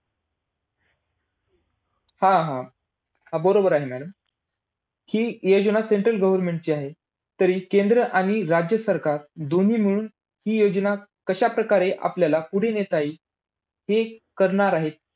हा, हा. हा बरोबर आहे madam. हि योजना central government ची आहे. तरी केंद्र आणि राज्य सरकार दोन्ही मिळून हि योजना कशा प्रकारे आपल्याला पुढे नेता येईल, हे करणार आहेत.